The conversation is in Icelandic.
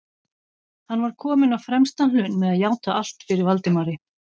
Hann var kominn á fremsta hlunn með að játa allt fyrir Valdimari.